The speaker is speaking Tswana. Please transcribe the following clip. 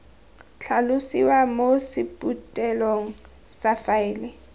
tlhalosiwa mo sephuthelong sa faele